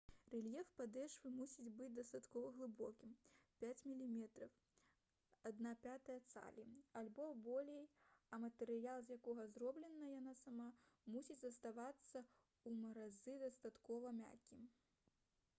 рэльеф падэшвы мусіць быць дастаткова глыбокім 5 мм 1/5 цалі альбо болей а матэрыял з якога зроблена яна сама мусіць заставацца ў маразы дастаткова мяккім